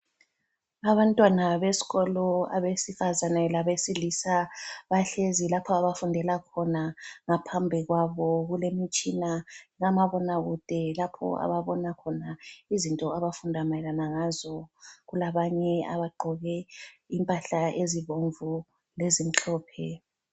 Abantwana besikolo abesifazana labesilisa bahlezi lapho abafundela khona. Ngaphambi kwabo kulemitshina kamabonakude lapho ababona khona izinto abafunda mayelana ngazo. Kulabanye abagqoke impahla ezibomvu lezimhlophe.